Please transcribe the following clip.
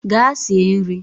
Gaa sie nri!